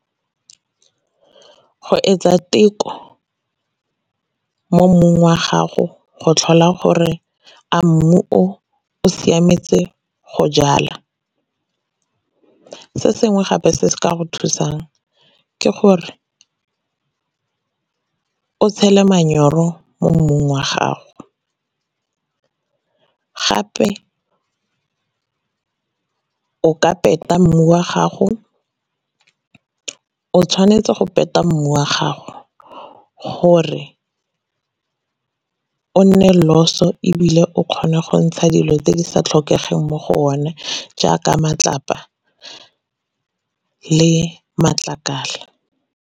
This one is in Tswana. Go etsa teko mo mmung wa gago go tlhola gore a mmu o o siametse go jala. Se sengwe gape se se ka go thusang ke gore o tshele manyoro mo mmung wa gago. Gape o ka peta mmu wa gago, o tshwanetse go penta mmu ya gago gore o nne loss-o, ebile o kgona go ntsha dilo tse di sa tlhokegeng mo go one jaaka matlapa le matlakala.